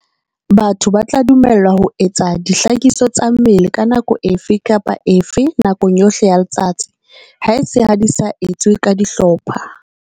Batho ba tla dumellwa ho etsa dihlakiso tsa mmele ka nako efe kapa efe nakong yohle ya letsatsi, haese ha di sa etswe ka dihlopha.